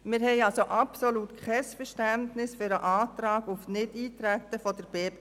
Wir haben daher absolut kein Verständnis für den Antrag der BDP auf Nichteintreten.